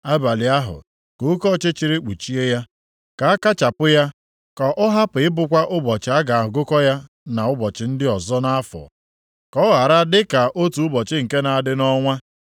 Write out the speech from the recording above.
Abalị ahụ, ka oke ọchịchịrị kpuchie ya, ka a kachapụ ya, ka ọ hapụ ịbụkwa ụbọchị a ga-agụkọ ya na ụbọchị ndị ọzọ nʼafọ, ka ọ ghara dịka otu ụbọchị nke na-adị nʼọnwa.